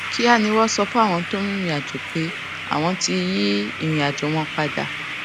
kíá ni wón sọ fún àwọn tó ń rìnrìn àjò pé àwọn ti yí ìrìnàjò wọn padà